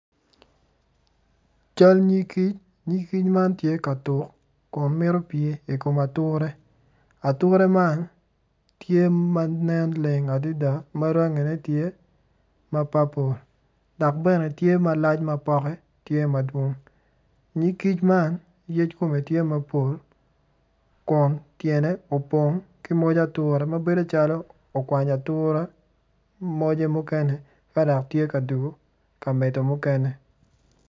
Cal nyig kic nyig kic man tye ka tuk kun mito pye ikom ature, ature man tye manen leng adada dok rangine tye ma papol dok bene tye malac ma pote tye madwong nyig kic man yec kome tye mapol kun tyene opong ki moj ature ma bedo calo okwanyo moje mukene ka dok tye ka dwogo ka medo mukene.